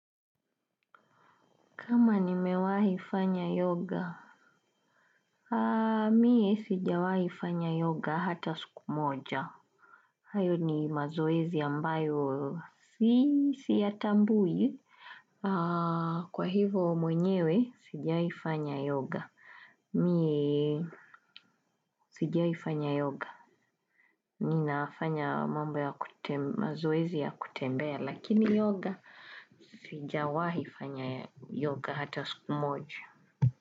Kama nimewahi fanya yoga? Mimi sijawahi kufanya yoga hata siku moja. Hayo ni mazoezi ambayo siyatambui. Kwa hivo mwenyewe, sijawahi fanya yoga. Mimi sijawahi fanya yoga. Ninafanya mambo ya mazoezi ya kutembea, lakini yoga sijawahi fanya yoga hata siku moja.